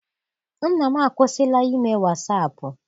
Nna m akwụsila ime wasaapụ.